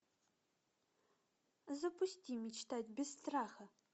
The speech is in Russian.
запусти мечтать без страха